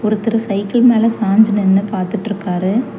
ஒருத்தர் சைக்கிள் மேல சாஞ்சு நின்னு பாத்துட்ருக்காறாரு.